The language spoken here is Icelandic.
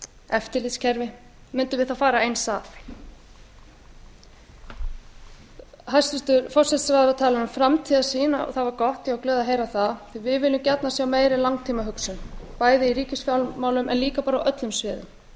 eftirlitskerfi mundum við þá fara eins að hæstvirtur forsætisráðherra talar um framtíðarsýn og það var gott ég var glöð að heyra það því að við viljum gjarnan sjá meiri langtímahugsun bæði í ríkisfjármálum en líka bara á öllum sviðum við